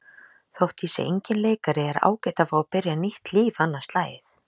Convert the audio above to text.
Þótt ég sé enginn leikari er ágætt að fá að byrja nýtt líf annað slagið.